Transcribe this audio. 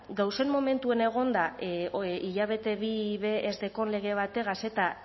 gauzen momentuan egonda hilabete bi be ez daukan lege bategaz eta